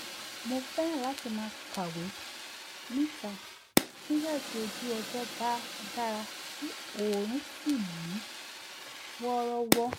mo fẹ́ràn láti máa kàwé níta nígbà tí ojú ọjọ́ bá dára tí oòrùn sì mú wọ́rọ́wọ́